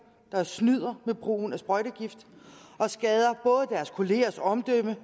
der snyder med brugen af sprøjtegifte og skader både deres kollegers omdømme